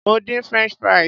Mo dín french fries.